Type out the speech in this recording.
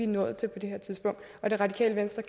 nået til på det her tidspunkt og det radikale venstre